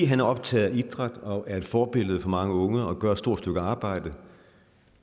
han er optaget af idræt og er et forbillede for mange unge og gør et stort stykke arbejde